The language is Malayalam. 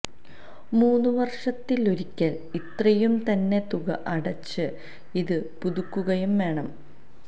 മൂന്നു വർഷത്തിലൊരിക്കൽ ഇത്രയും തന്നെ തുക അടച്ച് ഇത് പുതുക്കുകയും വേണം